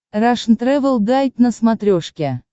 рашн тревел гайд на смотрешке